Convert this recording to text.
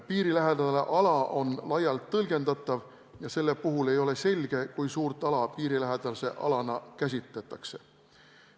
Piirilähedane ala on laialt tõlgendatav ja selle puhul ei ole selge, kui suurt ala piirilähedase alana käsitatakse.